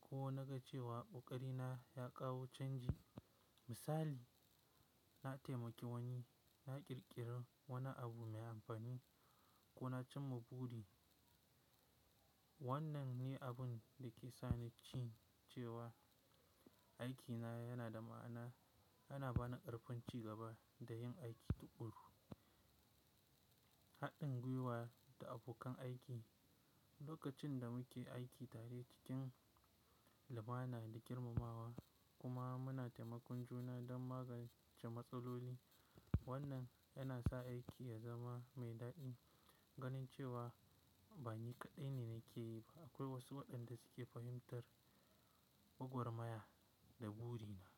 ko na ga cewa ƙoƙari na ya kawo canji, misali na taimaki wani, na ƙirƙira wani abu mai amfani, ko na cimma wannan ne abun da ke sa ni jin cewa aikina yana da ma'ana yana ba ni ƙarfin ci gaba da yin aiki tuƙuru. Haɗin gwiwa da abokan aiki. Lokacin da muke aiki tare cikin lumana da girmamawa kuma muna taimakon juna don magance matsaloli, wannan yana sa aiki ya zama mai daɗi. Ganin cewa ba ni kaɗai ne nake yi ba akwai wasu waɗanda suke fahimtar gwagwarmaya da buri na.